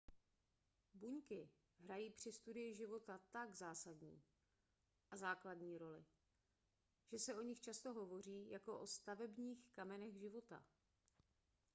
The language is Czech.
buňky hrají při studii života tak základní a zásadní roli že se o nich často hovoří jako o stavebních kamenech života